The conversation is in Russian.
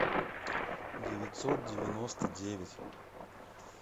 девятьсот девяносто девять